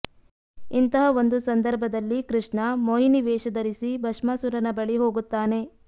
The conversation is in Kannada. ಇಂತಹ ಒಂದು ಸಂದರ್ಭದಲ್ಲಿ ಕೃಷ್ಣ ಮೊಹಿನಿ ವೇಷ ಧರಿಸಿ ಭಸ್ಮಾಸೂರನ ಬಳಿ ಹೋಗುತ್ತಾನೆ